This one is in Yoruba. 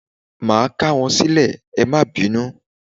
Máà k'áwọn sílè, ẹ má bínú